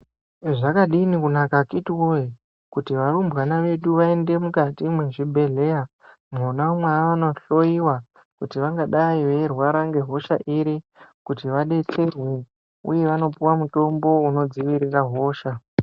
Zvakadini kunaka akiti woye kuti varumbwana vedu vaende mukati mwezvibhehleya mwona mwavano hloyiwa kuti vangadai veirwara ngehosha iri kuti vadetserwe uye vanopuwa mutombo unodzivirira hosha.